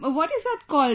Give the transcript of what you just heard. What is that called